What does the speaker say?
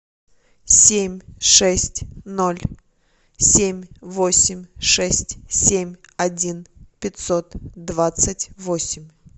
семь шесть ноль семь восемь шесть семь один пятьсот двадцать восемь